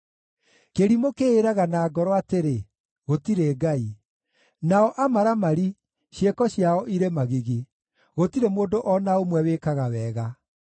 Kĩrimũ kĩĩraga na ngoro atĩrĩ, “Gũtirĩ Ngai.” Nao amaramari, ciĩko ciao irĩ magigi; gũtirĩ mũndũ o na ũmwe wĩkaga wega.